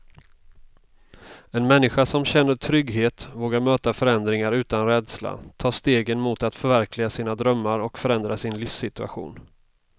En människa som känner trygghet vågar möta förändringar utan rädsla, ta stegen mot att förverkliga sina drömmar och förändra sin livssituation.